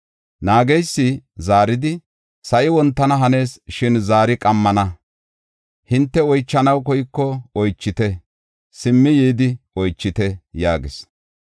Naageysi zaaridi, “Sa7i wontana hanees; shin zaari qammana. Hinte oychanaw koyko oychite; simmi yidi oychite” yaagis.